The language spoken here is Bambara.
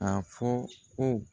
A fɔ ko